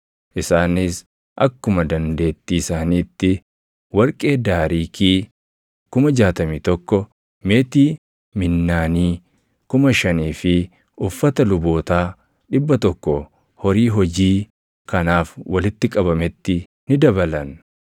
Isaanis akkuma dandeettii isaaniitti warqee daariikii + 2:69 Daariikiin tokko giraamii 8. 61,000, meetii minnaanii + 2:69 Minnaaniin tokko giraamii 600. 5,000 fi uffata lubootaa 100 horii hojii kanaaf walitti qabametti ni dabalan.